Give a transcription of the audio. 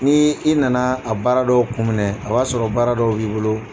Ni i na na a baara dɔw kun minɛ a y'a sɔrɔ baara dɔw b'i bolo.